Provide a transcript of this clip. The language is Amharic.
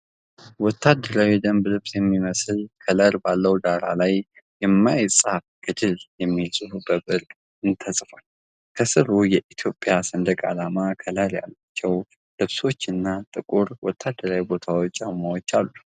ወታደራዊ የደንብ ልብስ የሚመስል ከለር ባለው ዳራ ላይ፣ "የማይጻፍ ገድል" የሚል ጽሑፍ በብር ቀለም ተጽፏል። ከስሩ የኢትዮጵያ ሰንደቅ ዓላማ ከለር ያላቸው ልብሶችና ጥቁር ወታደራዊ ቦት ጫማዎች አሉ።